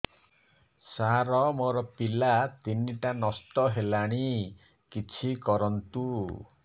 ସାର ମୋର ପିଲା ତିନିଟା ନଷ୍ଟ ହେଲାଣି କିଛି କରନ୍ତୁ